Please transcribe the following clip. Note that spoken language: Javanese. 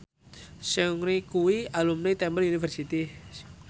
Seungri kuwi alumni Temple University